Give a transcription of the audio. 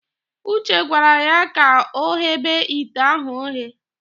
Uche gwara ya ka ọghebe ite ahụ oghe.